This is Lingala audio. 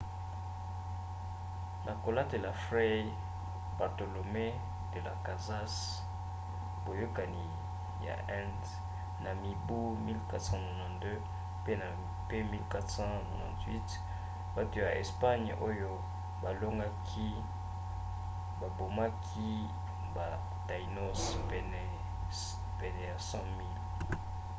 na kotalela fray bartolomé de las casas boyokani ya inde na mibu 1492 pe 1498 bato ya espagne oyo balongaki babomaki ba taínos pene ya 100 000